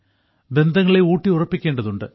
ബന്ധങ്ങളെ ഊട്ടിയുറപ്പിക്കേണ്ടതുണ്ട്